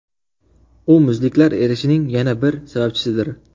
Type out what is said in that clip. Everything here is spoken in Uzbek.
U muzliklar erishining yana bir sababchisidir.